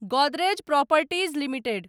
Godrej properties limited